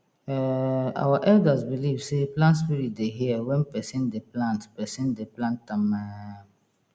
um our elders believe sey plant spirit dey hear when person dey plant person dey plant am um